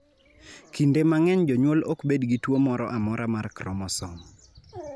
Kinde mang�eny, jonyuol ok bed gi tuo moro amora mar kromosom.